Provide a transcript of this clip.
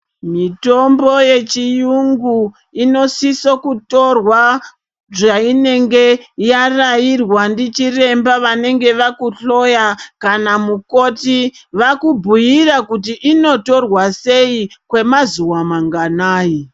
Mitombo yechiyungu inosiso kutorwa zvatinenge yarairwa ndichiremba vanenge vakuhloya kana mukoti vakubhuyira kuti inotorwa sei kwemazuwa mangwanani.